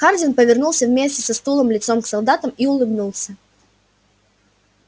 хардин повернулся вместе со стулом лицом к солдатам и улыбнулся